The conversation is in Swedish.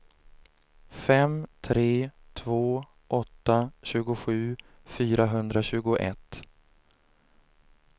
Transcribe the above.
fem tre två åtta tjugosju fyrahundratjugoett